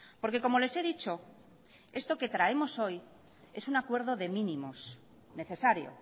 porque como les he dicho esto que traemos hoy es un acuerdo de mínimos necesario